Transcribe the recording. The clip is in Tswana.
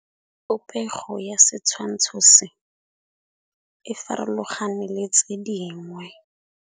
Popêgo ya setshwantshô se, e farologane le tse dingwe.